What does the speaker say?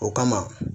O kama